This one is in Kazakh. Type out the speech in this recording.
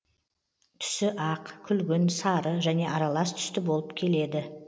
түсі ақ күлгін сары және аралас түсті болып келеді